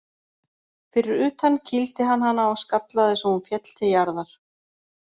Fyrir utan kýldi hann hana og skallaði svo hún féll til jarðar.